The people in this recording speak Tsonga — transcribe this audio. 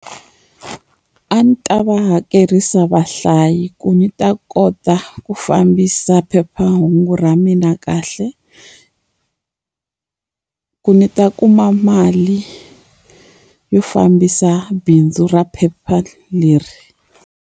A ni ta va hakerisa vahlayi ku ni ta kota ku fambisa phephahungu ra mina kahle ku ni ta kuma mali, yo fambisa bindzu ra phepha leri.